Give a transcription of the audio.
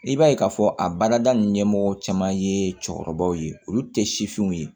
I b'a ye k'a fɔ a baarada ɲɛmɔgɔ caman ye cɛkɔrɔbaw ye olu tɛ sifinw ye